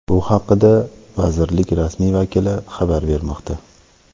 Bu haqda vazirlik rasmiy vakili xabar bermoqda.